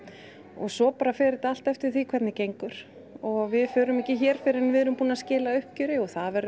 og svo bara fer þetta allt eftir hvernig gengur og við förum ekki fyrr en við erum búin að skila uppgjöri og það verður